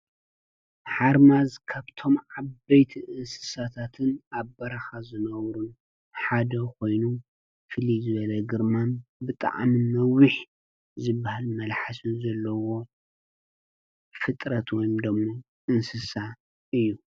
ሓርማዝ ካብቶም ዓበይቲ እንስሳታትን ኣብ በረኻ ዝነብሩን ሓደ ኮይኑ ፍልይ ዝበለ ግርማን ብጣዕሚ ነዊሕ ዝበሃል መልሓስን ዘለዎ ፍጥረት ወይ ድማ እንስሳ እዩ ።